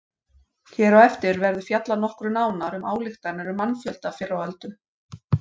Hér á eftir verður fjallað nokkru nánar um ályktanir um mannfjölda fyrr á öldum.